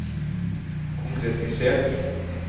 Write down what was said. konkretisert